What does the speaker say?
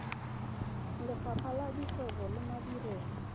lefapha la dikgwebo le madirelo